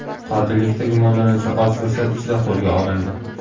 Qotillikda gumonlanuvchi oz fursat ichida qo‘lga olindi.